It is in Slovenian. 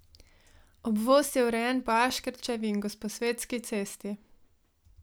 Obvoz je urejen po Aškerčevi in Gosposvetski cesti.